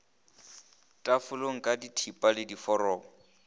tafoleng ka dithipa le diforoko